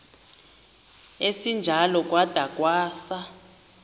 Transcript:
esinjalo kwada kwasa